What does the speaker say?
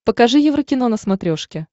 покажи еврокино на смотрешке